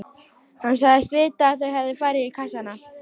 Hann sagðist vita að þau hefðu farið í kassana.